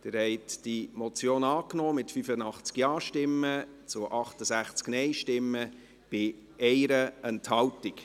Sie haben diese Motion angenommen, mit 85 Ja- zu 68 Nein-Stimmen bei 1 Enthaltung.